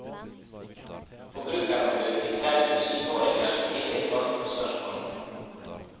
Forbrukerombudet fikk selv se syvåringer som ivrig svarte på spørsmål.